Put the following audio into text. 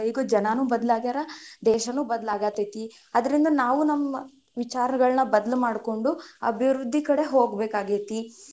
ಈಗ ಜನಾನು ಬದ್ಲ್ ಆಗ್ಯಾರ, ದೇಶನು ಬದ್ಲ್ ಆಗತೇತಿ, ಅದ್ರಿಂದ ನಾವು ನಮ್ಮ ವಿಚಾರಗಳನ್ನ ಬದ್ಲು ಮಾಡ್ಕೊಂಡು ಅಭಿವೃದ್ಧಿ ಕಡೆ ಹೋಗ್ಬೇಕಾಗೆತಿ.